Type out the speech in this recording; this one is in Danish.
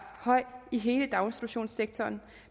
høj i hele daginstitutionssektoren